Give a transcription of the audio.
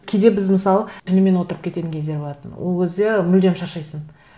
кейде біз мысалы түнімен отырып кететін кездер болатын ол кезде мүлдем шаршайсың